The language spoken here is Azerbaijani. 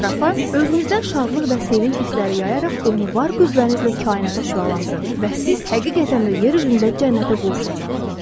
Ətrafa özünüzdən şadlıq və sevinc hissləri yayaraq onu var qüvvənizlə kainata şüalandırın və siz həqiqətən də yer üzündə cənnətə qovuşacaqsınız.